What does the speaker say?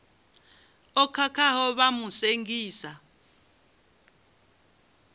o khakhaho vha mu sengisa